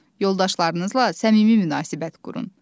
Yoldaşlarınızla səmimi münasibət qurun.